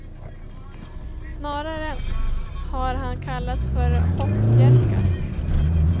Snarare har han kallats för hoppjerka.